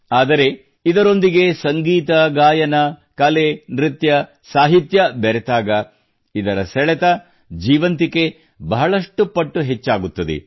ಆದರೆ ಇದರೊಂದಿಗೆ ಸಂಗೀತಗಾಯನ ಕಲೆ ನೃತ್ಯ ಸಾಹಿತ್ಯ ಬೆರೆತಾಗ ಇದರ ಸೆಳೆತ ಜೀವಂತಿಕೆ ಬಹಳಷ್ಟು ಪಟ್ಟು ಹೆಚ್ಚಾಗುತ್ತದೆ